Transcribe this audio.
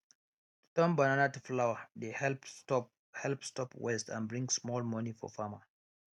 to turn banana to flour dey help stop help stop waste and bring small money for farmer